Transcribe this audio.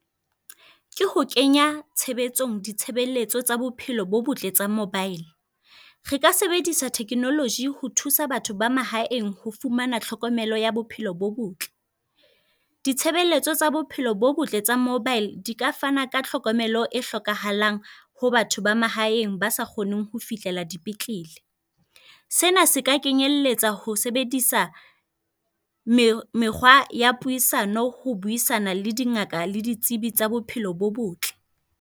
Ke ho kenya tshebetsong ditshebeletso tsa bophelo bo botle tsa mobile. Re ka sebedisa technology ho thusa batho ba mahaeng ho fumana tlhokomelo ya bophelo bo botle. Ditshebeletso tsa bophelo bo botle tsa mobile di ka fana ka tlhokomelo e hlokahalang ho batho ba mahaeng ba sa kgoneng ho fihlela dipetlele. Sena se ka kenyelletsa ho sebedisa mekgwa ya puisano ho buisana le dingaka, le ditsebi tsa bophelo bo botle.